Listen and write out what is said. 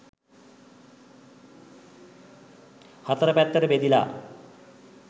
හතර පැත්තට බෙදිලා